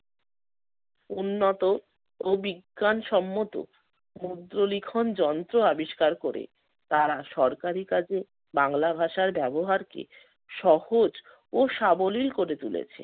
উন্নত ও বিজ্ঞানসম্মত মুদ্রলিখন যন্ত্র আবিষ্কার করে তারা সরকারি কাজে বাংলা ভাষার ব্যবহারকে সহজ ও সাবলীল করে তুলেছে।